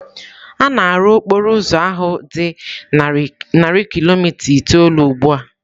A na-arụ okporo ụzọ ahụ dị narị kilomita itoolu ugbu a.